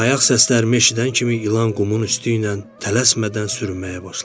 Ayaq səsim eşidən kimi ilan qumun üstü ilə tələsmədən sürməyə başladı.